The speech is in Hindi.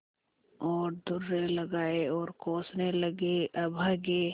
और दुर्रे लगाये और कोसने लगेअभागे